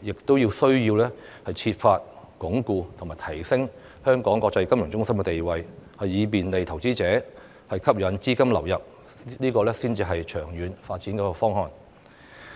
亦須設法鞏固和提升香港國際金融中心的地位，以便利投資者和吸引資金流入，這才是長遠發展的方案。